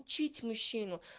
учить мужчину